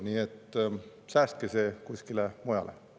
Nii et säästke see kuskile mujale.